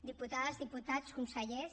diputades diputats consellers